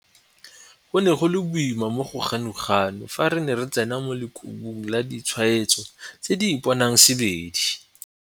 Go ne go le boima mo go Ganuganu fa re ne re tsena mo lekhubung la ditshwaetso tse di ipoangsebedi.